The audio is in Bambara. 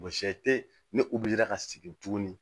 Mɔgɔ si tɛ ne bira ka sigi tuguni